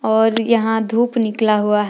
और यहां धूप निकला हुआ है।